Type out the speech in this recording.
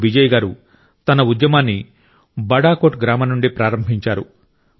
అప్పుడు బిజయ్ గారు తన ఉద్యమాన్ని బడాకోట్ గ్రామం నుండి ప్రారంభించారు